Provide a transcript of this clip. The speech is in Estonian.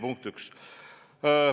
Punkt üks.